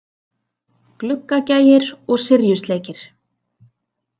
Gluggagægir og Syrjusleikir.